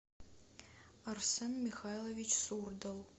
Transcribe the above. арсен михайлович сурдал